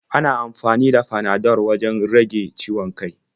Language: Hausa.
Ana amfani da Panadol wajen rage ciwon kai.